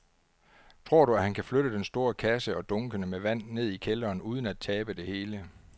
Tror du, at han kan flytte den store kasse og dunkene med vand ned i kælderen uden at tabe det hele?